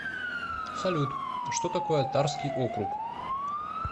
салют что такое тарский округ